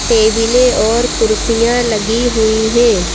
टेबलें और कुर्सियाँ लगी हुई हैं।